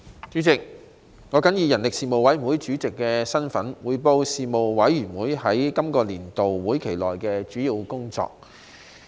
主席，我謹以人力事務委員會主席的身份，匯報事務委員會在今個年度會期內的主要工作。